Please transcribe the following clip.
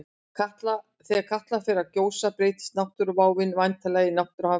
Þegar Katla svo fer að gjósa breytist náttúruváin væntanlega í náttúruhamfarir.